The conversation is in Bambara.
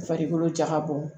Farikolo ja ka bɔ